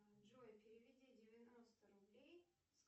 джой переведи девяносто рублей с